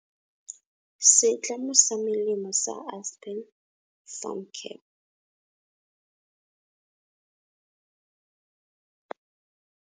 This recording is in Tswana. Setlamo sa melemo sa Aspen Pharmacare.